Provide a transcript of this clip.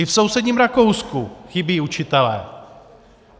I v sousedním Rakousku chybí učitelé.